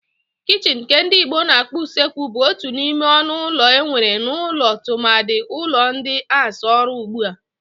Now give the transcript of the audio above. Kichini nke ndi Igbo na-akpọ usekwu bu otu n'ime ọnụ ụlọ enwere n'ụlọ tụmadị ụlọ ndi ans-arụ ugbua.